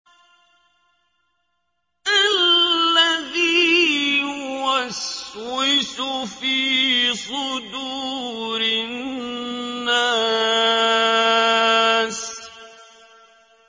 الَّذِي يُوَسْوِسُ فِي صُدُورِ النَّاسِ